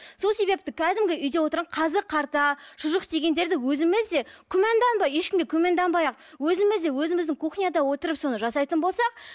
сол себепті кәдімгі үйде тұрған қазы қарта шұжық дегендерді өзіміз де күмәнданбай ешкімге күмәнданбай ақ өзіміз де өзіміздің кухняда отырып соны жасайтын болсақ